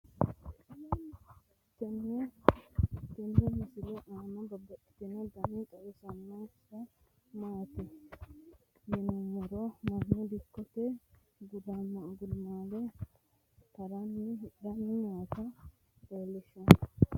tenne misile aana noorina tini misile biiffanno garinni babaxxinno daniinni xawissannori isi maati yinummoro mannu dikkotte gudummaallira hiraniinna hidhanni nootta leelishshanno.